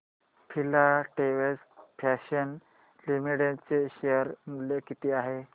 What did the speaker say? Filatex fashions limited चे share मूल्य किती आहे